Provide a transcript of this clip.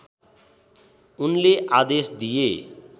उनले आदेश दिए